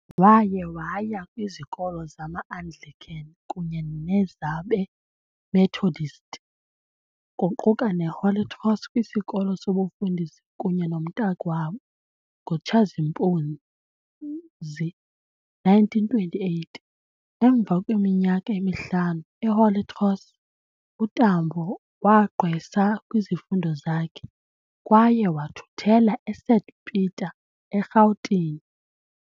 Waye waya kwizikolo zama-Anglican kunye nezabe-Methodist, kuquka ne-Holy Cross kwisikolo sobufundisi kunye nomntakwabo ngo Tshazimpuzi 1928. Emva kweminyaka emihlanu e-Holy Cross, uTambo wagqwesa kwizifundo zakhe kwaye wathuthela eSt Peter eRhawutini.